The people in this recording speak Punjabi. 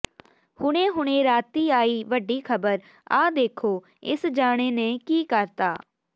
ਹੁਣੇ ਹੁਣੇ ਰਾਤੀ ਆਈ ਵੱਡੀ ਖਬਰ ਆਹ ਦੇਖੋ ਇਕ ਜਾਣੇ ਨੇ ਕੀ ਕਰਤਾ